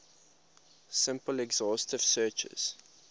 simple exhaustive searches